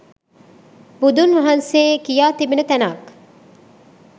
බුදුන් වහන්සේ කියා තිබෙන තැනක්